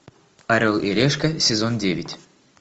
орел и решка сезон девять